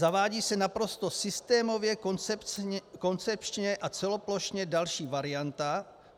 Zavádí se naprosto systémově, koncepčně a celoplošně další varianta.